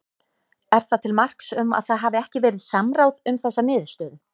Er það til marks um að það hafi ekki verið samráð um þessa niðurstöðum?